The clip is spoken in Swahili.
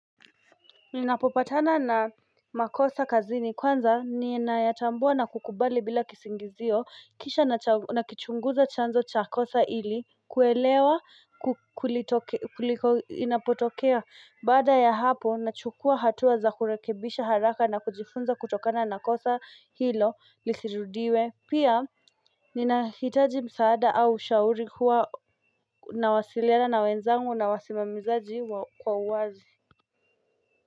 Ninapopatana na makosa kazini kwanza ninayatambua na kukubali bila kisingizio kisha nakichunguza chanzo cha kosa hili kuelewa kulitoke kuliko inapotokea Baada ya hapo nachukua hatuwa za kurekebisha haraka na kujifunza kutokana na kosa hilo lisirudiwe pia ninahitaji msaada au shauri huwa nawasiliana na wenzangu na wasimamizaji kwa uwazi.